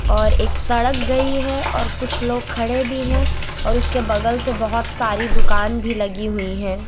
और एक सड़क गई है और कुछ लोग खड़े भी हैं और उसके बगल से बहोत सारी दुकान भी लगी हुई है।